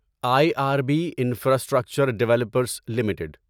I R B infrastructure developers limited